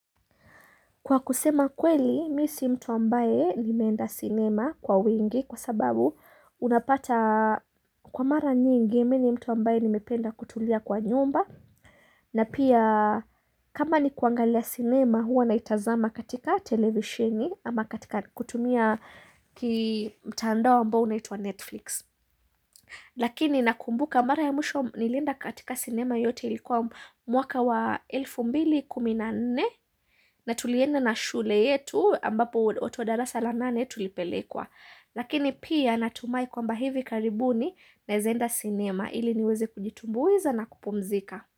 Kwa kusema kweli, mi si mtu ambaye nimeenda cinema kwa wingi kwa sababu unapata kwa mara nyingi, mi ni mtu ambaye nimependa kutulia kwa nyumba. Na pia kama ni kuangalia sinema huwa naitazama katika televisheni ama katika kutumia ki mtandao ambao unaitwa Netflix. Lakini nakumbuka mara ya mwisho nilienda katika sinema yote ilikuwa mwaka wa elfu mbili kumi nne na tulienda na shule yetu ambapo watu wa darasa la nane tulipelekwa Lakini pia natumai kwamba hivi karibuni naeza enda sinema ili niweze kujitumbuiza na kupumzika.